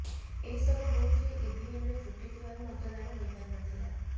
ଏହି ସବୁ ବୁଥ୍ରେ ଇଭିଏମ୍ରେ ତ୍ରୁଟି ଥିବାରୁ ମତଦାନ ହୋଇ ପାରିନଥିଲା